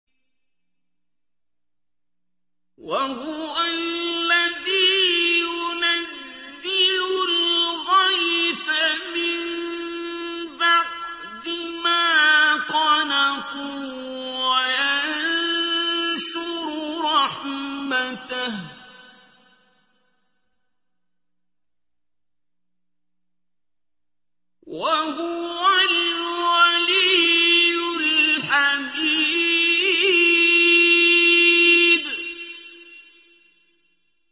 وَهُوَ الَّذِي يُنَزِّلُ الْغَيْثَ مِن بَعْدِ مَا قَنَطُوا وَيَنشُرُ رَحْمَتَهُ ۚ وَهُوَ الْوَلِيُّ الْحَمِيدُ